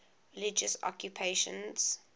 religious occupations